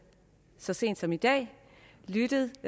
så sent som i dag lyttet